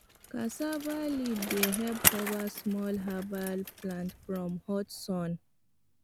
cassava leaf dey help cover small herbal plant from hot sun